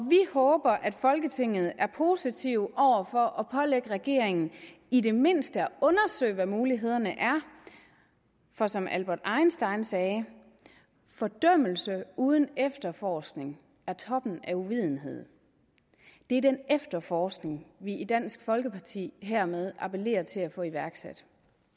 vi håber at folketinget er positiv over for at pålægge regeringen i det mindste at undersøge hvad mulighederne er for som albert einstein sagde fordømmelse uden efterforskning er toppen af uvidenhed det er den efterforskning vi i dansk folkeparti hermed appellerer til at få iværksat